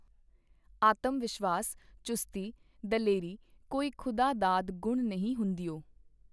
ਆਤਮ-ਵਸ਼ਿਵਾਸ, ਚੁਸਤੀ, ਦਲੇਰੀ ਕੋਈ ਖੁਦਾ-ਦਾਦ ਗੁਣ ਨਹੀਂ ਹੁੰਦਿਓ.